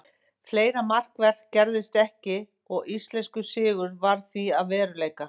Fleira markvert gerðist ekki og íslenskur sigur varð því að veruleika.